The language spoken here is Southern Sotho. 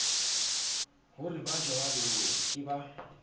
ho re bajwalo ke ba